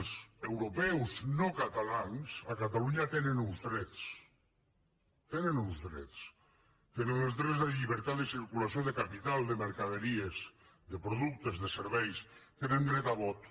els europeus no catalans a catalunya tenen uns drets tenen uns drets tenen els drets de la llibertat de circulació de capital de mercaderies de productes de serveis tenen dret a vot